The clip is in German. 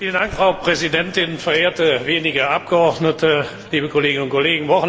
Frau Präsidentin, verehrte wenige Abgeordnete, liebe Kolleginnen und Kollegen!